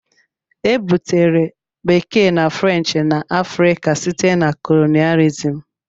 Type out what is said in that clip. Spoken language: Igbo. Ebutere Bekee na French na Africa site na colonialism.